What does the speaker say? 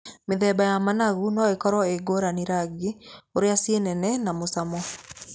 Mĩthemba ya managu no ĩkorwo ĩngũrani rangi, ũrĩa ci nene na mũcamo.